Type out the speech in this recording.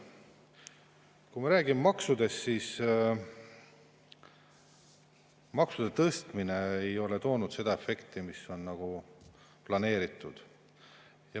Kui me räägime maksudest, siis tuleb öelda, et maksude tõstmine ei ole toonud seda efekti, mis oli planeeritud.